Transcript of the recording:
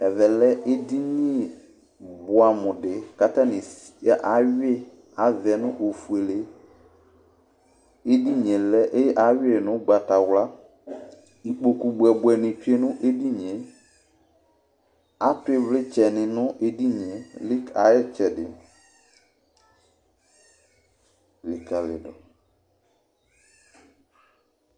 Ɛvɛ edini bʋɛ amʋ dɩ kʋ atani ayʋi ava yɛ nʋ ofuele Edini yɛ ayʋi nʋ ugbatawla, Ikpoku bʋɛbʋɛ ni lɛ nʋ edini yɛ Atu ivlitsɛni nʋ edini yɛ ayʋ ɩtsɛdɩ likǝli dʋ